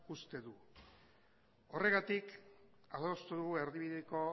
uste dut horregatik adostu dugu erdibideko